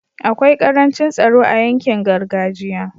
akwai karancin tsaro a yankin gargajiya